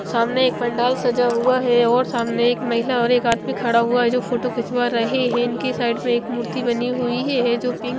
सामने एक पंडाल सजा हुआ है और सामने एक महिला और एक आदमी खड़ा हुआ है जो फोटो खिंचवा रहे हैं उनकी साइड में एक मूर्ति बनी हुई हे है जो पिंक --